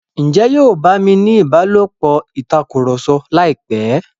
Njé yóò bá mí ìbálòpọ̀ Tàkùrọ̀sọ láìpé?